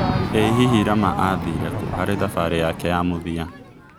ĩ hihi rama athĩire kũ harĩ thambarĩ yake ya mũthia